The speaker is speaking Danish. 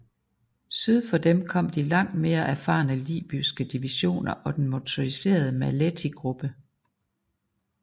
Syd for dem kom de langt mere erfarne libyske divisioner og den motoriserede Maletti gruppe